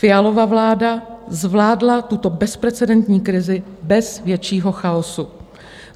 Fialova vláda zvládla tuto bezprecedentní krizi bez většího chaosu.